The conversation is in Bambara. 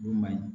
O man ɲi